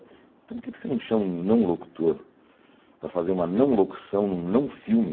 Então por que você não chama um não-locutor para fazer uma não-locução, num não-filme?